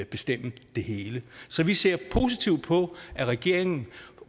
bestemme det hele så vi ser positivt på at regeringen